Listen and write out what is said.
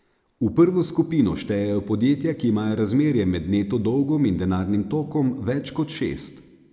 V prvo skupino štejejo podjetja, ki imajo razmerje med neto dolgom in denarnim tokom več kot šest.